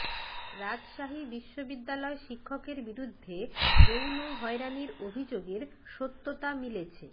রাজশাহী বিশ্ববিদ্যালয় শিক্ষকের বিরুদ্ধে যৌন হয়রানির অভিযোগের সত্যতা মিলেছে